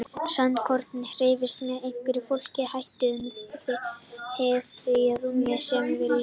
Sandkornið hreyfist með einhverjum flóknum hætti um hið þrívíða rúm sem við lifum í.